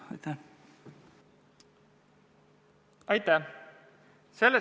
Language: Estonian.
Aitäh!